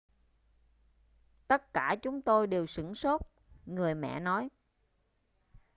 tất cả chúng tôi đều sửng sốt người mẹ nói